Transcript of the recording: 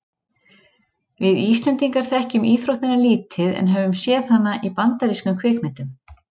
Við Íslendingar þekkjum íþróttina lítið en höfum séð hana í bandarískum kvikmyndum.